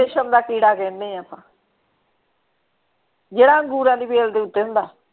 ਰੇਸ਼ਮ ਦਾ ਕੀੜਾ ਕਹਿੰਦੇ ਆਪਾਂ ਜਿਹੜਾ ਅੰਗੂਰਾਂ ਦੀ ਬੇਲ ਦੇ ਉੱਤੇ ਹੁੰਦਾ।